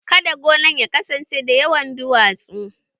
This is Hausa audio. Kada gonan ya kasance da yawan duwatsu